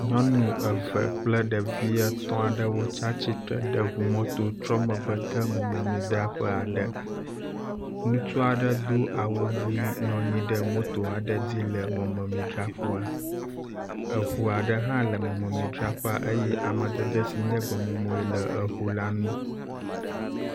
Nyɔnu eve kple ɖevi etɔ̃ aɖewo tsi atsitre ɖe ŋu mɔto trɔ megbe de mɔmemidzraƒe aɖe. Ŋutsu aɖe do awu ʋi nɔ anyi ɖe moto aɖe dzi le mɔmemidzraƒea. Eŋu aɖe hã le mɔmemidzraƒe eye amadede si nye gbemumu le eŋu la ŋu.